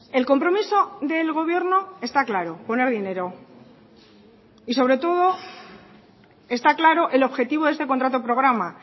el compromiso del gobierno está claro poner dinero y sobre todo está claro el objetivo de este contrato programa